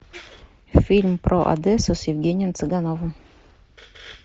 фильм про одессу с евгением цыгановым